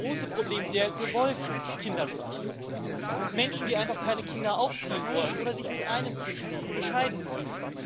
Es gibt das große Problem der gewollten Kinderlosigkeit Menschen, die einfach keine Kinder aufziehen wollen oder sich mit einem Kind bescheiden wollen.